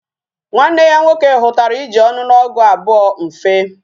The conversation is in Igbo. Nwanne ya nwoke hutara iji onuogugu abuo mfe